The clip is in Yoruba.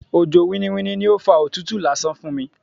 Òjò winniwinni ni ó fa òtútù lásán fún mi.